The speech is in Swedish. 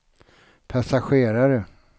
passagerare